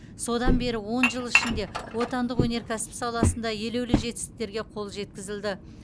содан бері он жыл ішінде отандық өнеркәсіп саласында елеулі жетістіктерге қол жеткізілді